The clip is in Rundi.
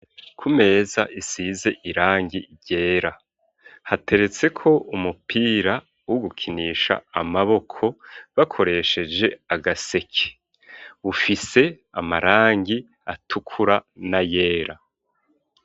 Kumeza isize irangi ryera hateretse ko umupira wo gukinisha amaboko bakoresheje agaseke ufise amarangi atukura na yera.